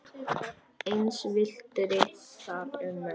Eins villti þar um menn.